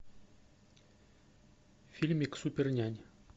фильмик супернянь